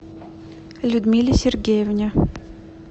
людмиле сергеевне